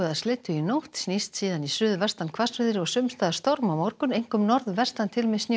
slyddu í nótt snýst síðan í suðvestanhvassviðri og sums staðar storm á morgun einkum norðvestan til með